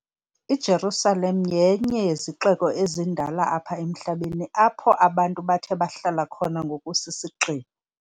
IJerusalem yenye yezixeko ezindala apha emhlabeni apho abantu bathe bahlala khona ngokusisigxina.